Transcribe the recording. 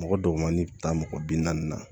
Mɔgɔ dɔgɔmani bɛ taa mɔgɔ bi naani na